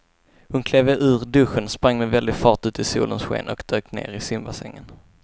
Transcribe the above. Hon klev ur duschen, sprang med väldig fart ut i solens sken och dök ner i simbassängen.